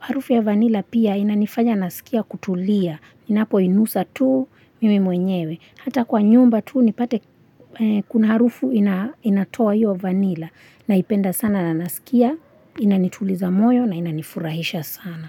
Harufu ya vanila pia inanifanya nasikia kutulia ninapoinusa tu mimi mwenyewe. Hata kwa nyumba tu nipate kuna harufu inatoa hiyo vanila naipenda sana na nasikia Inanituliza moyo na inanifurahisha sana.